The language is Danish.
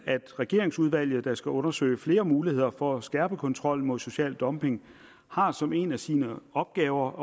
at regeringsudvalget der skal undersøge flere muligheder for at skærpe kontrollen til social dumping har som en af sine opgaver